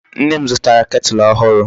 Nne m zutara kettle ohuru